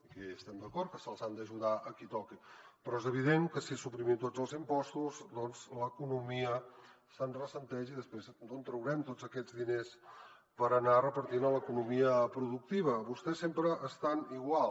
que ja hi estem d’acord que s’ha d’ajudar a qui toqui però és evident que si suprimim tots els impostos doncs l’economia se’n ressent i després d’on traurem tots aquests diners per anar repartint a l’economia productiva vostès sempre estan igual